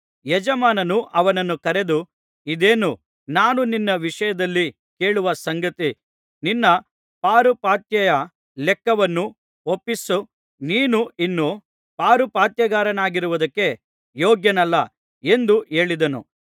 ಯಜಮಾನನು ಅವನನ್ನು ಕರೆದು ಇದೇನು ನಾನು ನಿನ್ನ ವಿಷಯದಲ್ಲಿ ಕೇಳುವ ಸಂಗತಿ ನಿನ್ನ ಪಾರುಪಾತ್ಯೆಯ ಲೆಕ್ಕವನ್ನು ಒಪ್ಪಿಸು ನೀನು ಇನ್ನು ಪಾರುಪಾತ್ಯಗಾರನಾಗಿರುವುದಕ್ಕೆ ಯೋಗ್ಯನಲ್ಲ ಎಂದು ಹೇಳಿದನು